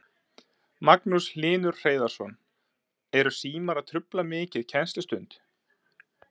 Magnús Hlynur Hreiðarsson: Eru símar að trufla mikið kennslustund?